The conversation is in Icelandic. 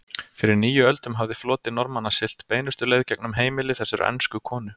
Fyrir níu öldum hafði floti Normanna siglt beinustu leið gegnum heimili þessarar ensku konu.